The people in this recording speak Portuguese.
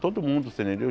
Todo mundo, você entendeu?